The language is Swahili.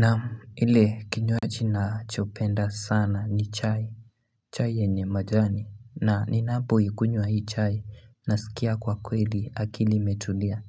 Naam, ile kinywaji nacho penda sana ni chai. Chai yenye majani. Na, ni napo ikunywa hii chai. Nasikia kwa kweli akili imetulia.